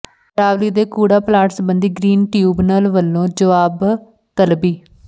ਅਰਾਵਲੀ ਦੇ ਕੂੜਾ ਪਲਾਂਟ ਸਬੰਧੀ ਗ੍ਰੀਨ ਟ੍ਰਿਬਿਊਨਲ ਵੱਲੋਂ ਜਵਾਬਤਲਬੀ